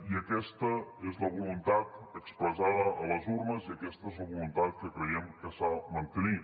i aquesta és la voluntat expressada a les urnes i aquesta és la voluntat que creiem que s’ha de mantenir